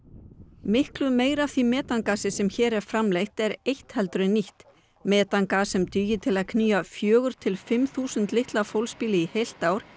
miklu meiru af því metangasi sem hér er framleitt er eytt heldur en nýtt metangas sem dugir til að knýja fjögur til fimm þúsund litla fólksbíla í heilt ár